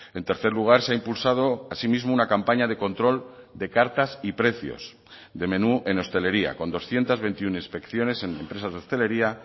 en tercer lugar se ha impulsado asimismo una campaña de control de cartas y precios de menú en hostelería con doscientos veintiuno inspecciones en empresas de hostelería